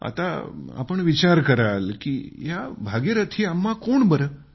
आता तुम्ही विचार करत असणार की या भागीरथी अम्मा कोण बरं